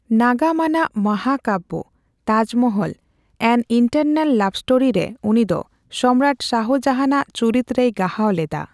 ᱱᱟᱜᱟᱢ ᱟᱱᱟᱜ ᱢᱟᱦᱟᱠᱟᱵᱵᱚ ᱛᱟᱡᱢᱚᱦᱚᱞ ᱮᱱ ᱤᱱᱴᱟᱨᱱᱟᱞ ᱞᱟᱵᱷ ᱥᱴᱳᱨᱤ ᱨᱮ ᱩᱱᱤ ᱫᱚ ᱥᱚᱢᱨᱟᱴ ᱥᱟᱦᱟᱡᱟᱦᱟᱱ ᱟᱜ ᱪᱩᱨᱤᱛ ᱨᱮᱭ ᱜᱟᱦᱟᱣ ᱞᱮᱫᱟ ᱾